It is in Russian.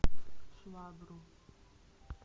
швабру